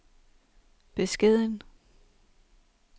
beskeden